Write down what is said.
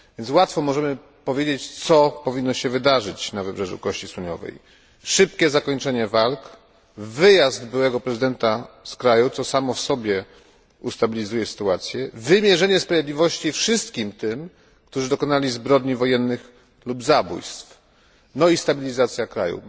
Łatwo jest więc przewidzieć, co powinno wydarzyć się w Wybrzeżu Kości Słoniowej szybkie zakończenie walk, wyjazd byłego prezydenta z kraju, co znacznie ustabilizuje sytuację, wymierzenie sprawiedliwości wszystkim tym, którzy dokonali zbrodni wojennych lub zabójstw, oraz stabilizacja kraju.